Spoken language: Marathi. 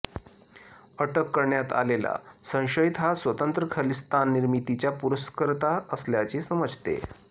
अटक करण्यात आलेला संशयित हा स्वतंत्र खलिस्तान निर्मितीचा पुरस्कर्ता असल्याचे समजते